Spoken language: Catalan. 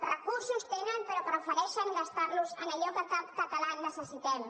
recursos en tenen però prefereixen gastar los en allò que cap català necessita